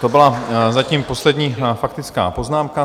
To byla zatím poslední faktická poznámka.